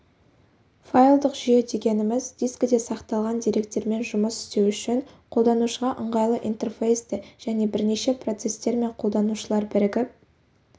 файлдық жүйе дегеніміз дискіде сақталған деректермен жұмыс істеу үшін қолданушыға ыңғайлы интерфейсті және бірнеше процестер мен қолданушылар бірігіп